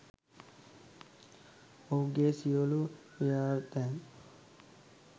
ඔහුගේ සියලූ ව්‍යර්ථයන්